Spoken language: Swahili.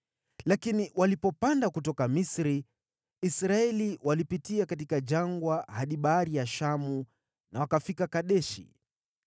Lakini walipopanda kutoka Misri, Israeli walipitia katika jangwa hadi Bahari ya Shamu na wakafika Kadeshi.